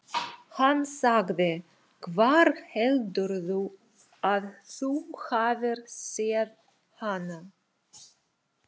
Hann sagði: Hvar heldurðu að þú hafir séð hana?